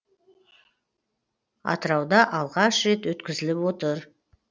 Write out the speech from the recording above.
атырауда алғаш рет өткізіліп отыр